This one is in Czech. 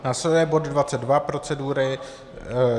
Následuje bod 22 procedury.